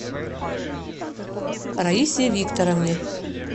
раисе викторовне